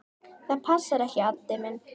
Það passar ekki, Addi minn.